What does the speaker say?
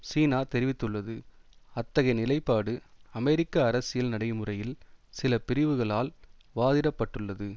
சீனா தெரிவித்துள்ளது அத்தகைய நிலைப்பாடு அமெரிக்க அரசியல் நடைமுறையில் சில பிரிவுகளால் வாதிடப்பட்டுள்ளது